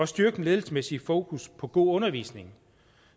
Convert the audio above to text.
styrket ledelsesmæssigt fokus på god undervisning